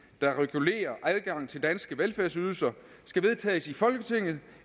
der regulerer adgangen til danske velfærdsydelser skal vedtages i folketinget